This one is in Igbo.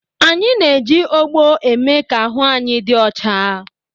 Anyị na-eji ogbo eme ka ahụ anyị dị ọcha.